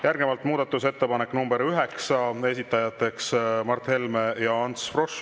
Järgnevalt muudatusettepanek nr 9, esitajateks Mart Helme ja Ants Frosch.